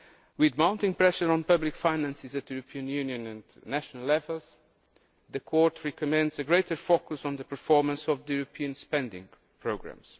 With mounting pressure on public finances at European Union and national levels, the Court recommends a greater focus on the performance of the European spending programmes.